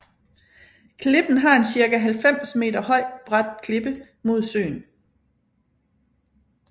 Klippen har en cirka 90 meter høj brat klippe mod søen